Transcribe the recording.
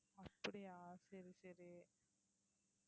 அப்படியா சரி சரி